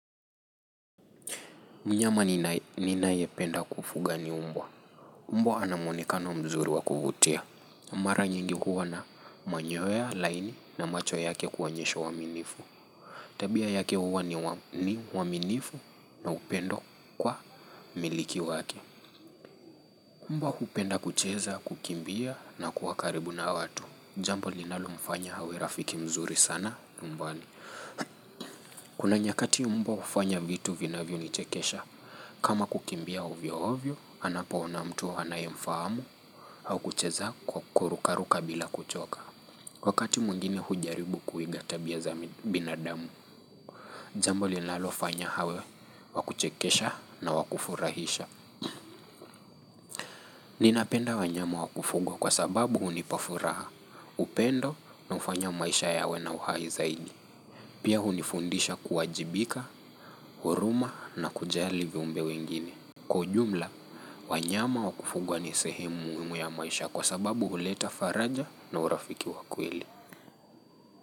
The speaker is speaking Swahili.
Mnyama ninayependa kufuga ni umbwa. Mbwa ana mwonekano mzuri wa kuvutia. Mara nyingi huwa na manyoya laini na macho yake kuonyesha uwaminifu. Tabia yake huwa ni waminifu na upendo kwa mmiliki wake. Mbwa hupenda kucheza, kukimbia na kuwa karibu na watu. Jambo linalomfanya awe rafiki mzuri sana nyumbani. Kuna nyakati mbwa hufanya vitu vinavyonichekesha. Kama kukimbia ovyo ovyo, anapoona mtu anayemfahamu au kucheza kwa kurukaruka bila kuchoka. Wakati mwingine hujaribu kuiga tabia za binadamu. Jambo linalofanya hawe, wa kuchekesha na wa kufurahisha. Ninapenda wanyama wa kufugwa kwa sababu hunipa furaha, upendo na ufanya maisha yawe na uhai zaidi. Pia hunifundisha kuwajibika, huruma na kujali viumbe wengine. Kwa ujumla, wanyama wa kufugwa ni sehemu muhimu ya maisha kwa sababu huleta faraja na urafiki wa kweli.